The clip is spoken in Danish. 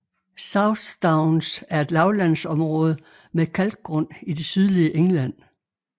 South Downs er et lavlandsområde med kalkgrund i det sydlige England